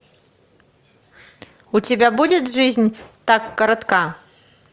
у тебя будет жизнь так коротка